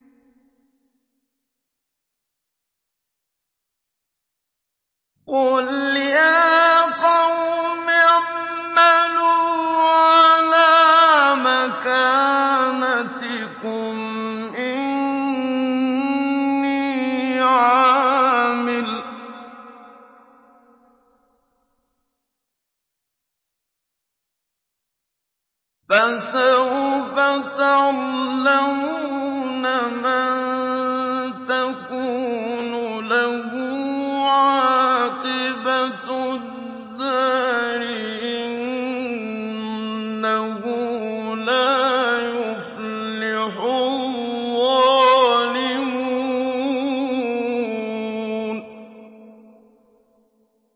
قُلْ يَا قَوْمِ اعْمَلُوا عَلَىٰ مَكَانَتِكُمْ إِنِّي عَامِلٌ ۖ فَسَوْفَ تَعْلَمُونَ مَن تَكُونُ لَهُ عَاقِبَةُ الدَّارِ ۗ إِنَّهُ لَا يُفْلِحُ الظَّالِمُونَ